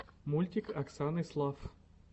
мультик оксаны слафф